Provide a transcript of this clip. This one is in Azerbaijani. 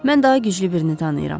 Mən daha güclü birini tanıyıram.